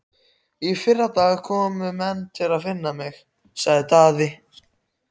Í fyrradag komu menn að finna mig, sagði Daði.